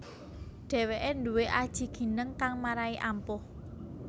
Dheweke nduwé aji gineng kang marai ampuh